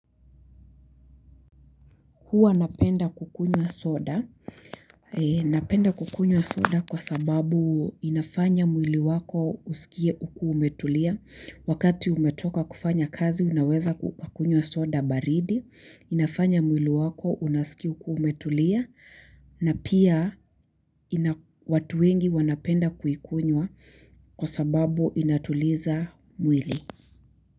Huwa napenda kukunywa soda, napenda kukunywa soda kwa sababu inafanya mwili wako usikie uku umetulia, wakati umetoka kufanya kazi unaweza kukunywa soda baridi, inafanya mwili wako unasikia ukiwa umetulia, na pia watu wengi wanapenda kuikunywa kwa sababu inatuliza mwili.